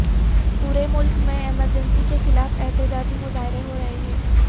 پورے ملک میں ایمرجنسی کے خلاف احتجاجی مظاہرے ہوں رہے ہیں